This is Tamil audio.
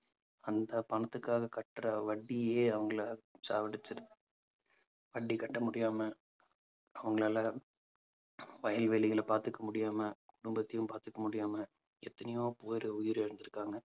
அந்த பணத்துக்காக கட்டற வட்டியே அவங்களை சாவடிச்சிரும் வட்டி கட்ட முடியாம அவங்களால வயல்வெளிகளை பாத்துக்க முடியாம குடும்பத்தையும் பாத்துக்க முடியாம எத்தனையோ பேர் உயிரிழந்திருக்காங்க